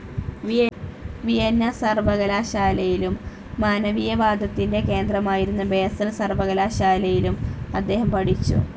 Vienna സർവകലാശാലയിലും, മാനവീയവാദത്തിന്റെ കേന്ദ്രമായിരുന്ന ബാസൽ സർവകലാശാലയിലും അദ്ദേഹം പഠിച്ചു.